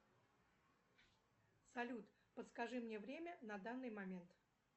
салют подскажи мне время на данный момент